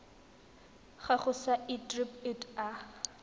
gago sa irp it a